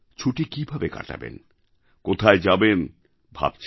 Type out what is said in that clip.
ছুটি কীভাবে কাটাবেন কোথায় যাবেন ভাবছেন